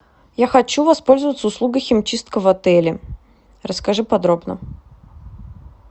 я хочу воспользоваться услугой химчистка в отеле расскажи подробно